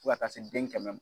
Fo ka taa se den kɛmɛ ma